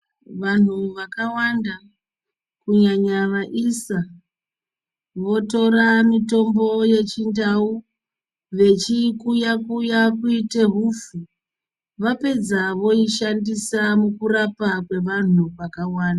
Vanhu vakawanda, kunyanya vaisa votora mutombo wechindau vechiikuya kuya kuti hupfu ,vapedza voishandisa mukurapa kwevanhu vakawanda .